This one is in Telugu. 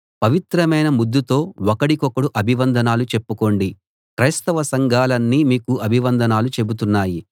పవిత్రమైన ముద్దుతో ఒకడికొకడు అభివందనాలు చెప్పుకోండి క్రైస్తవ సంఘాలన్నీ మీకు అభివందనాలు చెబుతున్నాయి